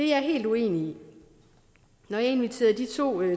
jeg helt uenig i når jeg inviterede de to